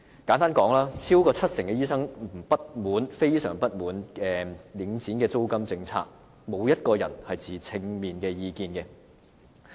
簡單而言，超過七成醫生非常不滿領展的租金政策，並無受訪者持正面意見。